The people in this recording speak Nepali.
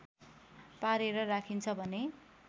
पारेर राखिन्छ भने